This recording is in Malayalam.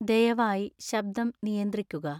ദയവായി ശബ്ദം നിയന്ത്രിക്കുക